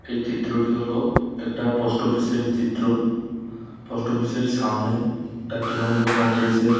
এই চিত্রটি হলো একটা পোস্ট অফিস -এর চিত্র। পোস্ট অফিস -এর সামনে একটা তুনমুল কংগ্রেসের--